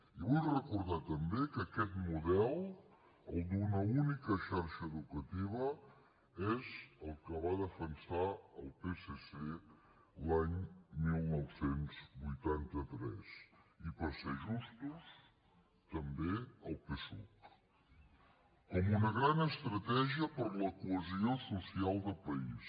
i vull recordar també que aquest model el d’una única xarxa educativa és el que va defensar el psc l’any dinou vuitanta tres i per ser justos també el psuc com una gran estratègia per a la cohesió social del país